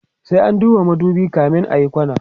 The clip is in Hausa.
sai an duba madubi kamin ayi kwana